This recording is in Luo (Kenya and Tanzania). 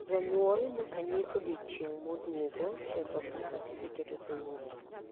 janyuol nyaka nyis odiechieng modwogo cheko ka satifiket osewuok